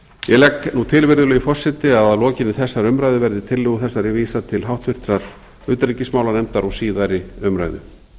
ég legg til virðulegi forseti að að lokinni þessari umræðu verði tillögu þessari vísað til síðari umræðu